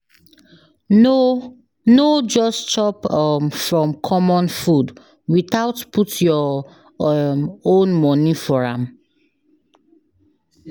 No No just chop um from common food without put your um own money for am.